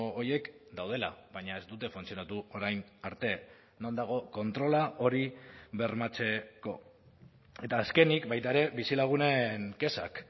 horiek daudela baina ez dute funtzionatu orain arte non dago kontrola hori bermatzeko eta azkenik baita ere bizilagunen kexak